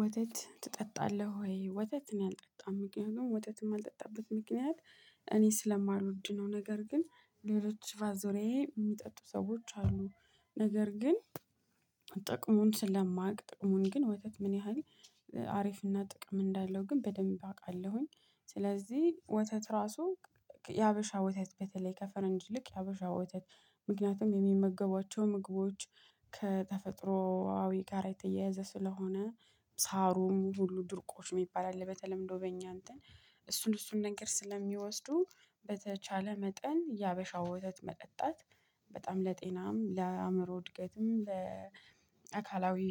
ወተት ትጠጣለህ ወይ? ወተት እኔ አልጠጣም ምክንያቱም ወተትም ማልጠጣበት ምክንያት እኔ ስለማልወድ ነው። ነገር ግን ሌሎች በዙሪያዬ የሚጠጡ ሰዎች አሉ ነገር ግን። ጥቅሙን ስለማውቅ ጥቅሙን ግን ወተት ምን ያህል ሀሪፍና ጥቅም እንዳለው ግን በደንብ አውቃለሁኝ። ስለዚህ ወተት እራሱ የሀበሻ ወተት በተለይ ከፈረንጅ ይልቅ የሀበሻ ወተት። ምክንያቱም የሚመገቧቸው ምግቦች ከተፈጥሮአዊ ጋር የተያያዘ ስለሆነ። ሳሩም ሁሉ ድርቆሽ የሚባል አለ በተለምዶ በእኛ እንትን እሱን እሱን ነገር ስለሚወስዱ። በተቻለ መጠን የሀበሻው ወተት መጠጣት በጣም ለጤናም ለአእምሮ እድገትም ለአካላዊ